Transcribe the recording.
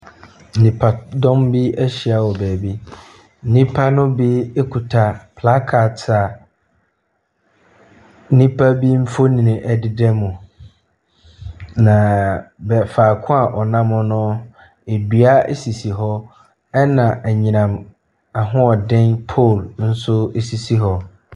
Nnipadɔm ahyia wɔ baabi. Nnipa no bi kuta flash card a ebinom mfoni deda mu. Na faako a ɔnam dua sisi hɔ, nam anyinam ahoɔden pole nso sisi hɔ.